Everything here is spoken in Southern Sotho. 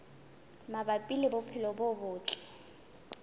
mabapi le bophelo bo botle